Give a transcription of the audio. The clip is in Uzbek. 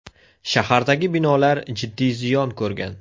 Shahardagi binolar jiddiy ziyon ko‘rgan .